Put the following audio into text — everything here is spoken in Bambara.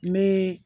N bɛ